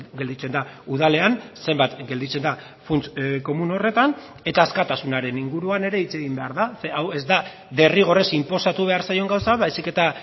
gelditzen da udalean zenbat gelditzen da funts komun horretan eta askatasunaren inguruan ere hitz egin behar da ze hau ez da derrigorrez inposatu behar zaion gauza baizik eta